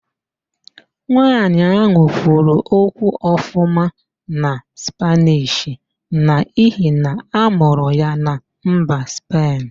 Nwa ahụ kwuru okwu ọfụma na Spaanish n'ihi na-amụrụ ya na mba Spen